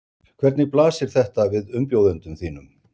Hvernig blasir þetta við umbjóðendum þínum?